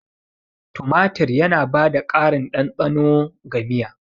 Tumatir yana ba da ƙarin ɗanɗano ga miya.